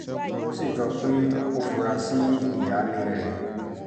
ó sì jọ pé ó fura sí ìyáálé rẹ̀